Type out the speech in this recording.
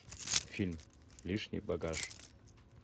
фильм лишний багаж